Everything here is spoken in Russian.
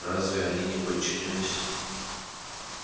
разве они не подчинялись